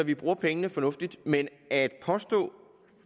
vi bruger pengene fornuftigt men at påstå